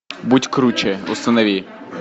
будь круче установи